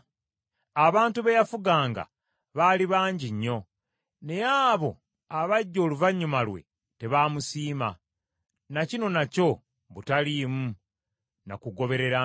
Abantu be yafuganga baali bangi nnyo. Naye abo abajja oluvannyuma lwe tebaamusiima. Na kino nakyo butaliimu na kugoberera mpewo.